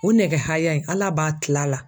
O nɛgɛ haya in ALA b'a kil'a la.